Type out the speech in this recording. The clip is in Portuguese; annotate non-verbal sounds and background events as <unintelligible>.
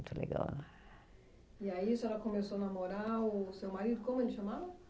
<unintelligible> Legal. E aí, a senhora começou a namorar o seu marido, como ele chamava?